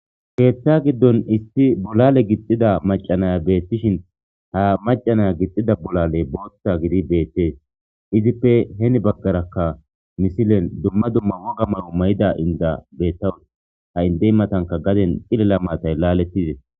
keeththa giddon isti bolale gixxida macanaya beettishin ha macanaya gixxida bolale booththa gidi beettees izippe heni bagkarakka misilen dumma dumma woga maro may7ida inda beettawus ha indey matanka gaden xilela maatay laalettides